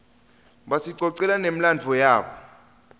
basicocela nemladvo wabo